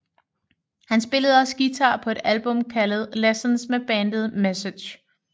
Han spillede også guitar på et album kaldet Lessons med bandet Message